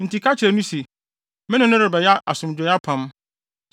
Enti ka kyerɛ no se, me ne no rebɛyɛ asomdwoe apam.